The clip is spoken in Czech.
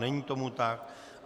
Není tomu tak.